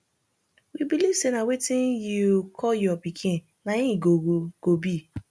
we believe say na wetin yiu call your pikin na im he go go be